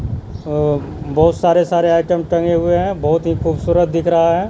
अ बहुत सारे-सारे आइटम टंगे हुए है बहुत ही खूबसूरत दिख रहा है।